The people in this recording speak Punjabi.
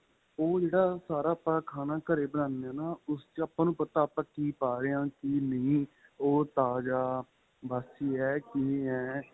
ਉਹ ਜਿਹੜਾ ਸਾਰਾ ਆਪਾਂ ਖਾਣਾ ਘਰੇ ਬਣਾਦੇ ਹਾਂ ਉਸ ਆਪਾਂ ਨੂੰ ਪਤਾ ਆਪਾਂ ਕਿ ਪਾਂ ਰਹੇ ਏ ਕਿ ਨਹੀਂ ਉਹ ਤਾਜਾਂ ਬਾਸੀ ਏ ਕਿਵੇਂ ਏ